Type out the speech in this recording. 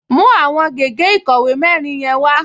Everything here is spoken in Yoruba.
Mú àwọn gègé ìkọ̀wé mẹ́rin yẹn wá!